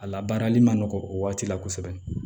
A labaarali ma nɔgɔn o waati la kosɛbɛ